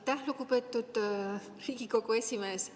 Aitäh, lugupeetud Riigikogu esimees!